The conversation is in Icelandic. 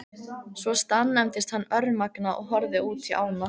Svo staðnæmdist hann örmagna og horfði útí ána.